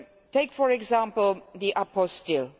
Take, for example, the apostille